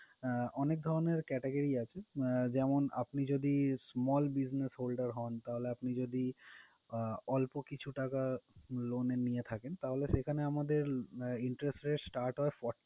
আহ অনেক ধরণের category আছে। যেমন আপনি যদি small business holder হোন, তাহলে আপনি যদি আহ অল্প কিছু টাকা loan এ নিয়ে থাকেন, তাহলে সেখানে আমাদের interest rate start হয়